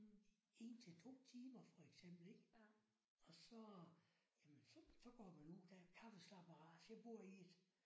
1 til 2 timer for eksempel ik. Og så jamen så så går man ud der er kaffeslabberas jeg bor i et